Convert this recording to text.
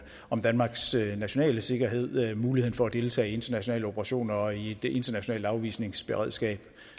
om danmarks nationale sikkerhed muligheden for at deltage i internationale operationer og i et internationalt afvisningsberedskab